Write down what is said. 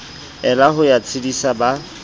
ela ho ya tshedisa ba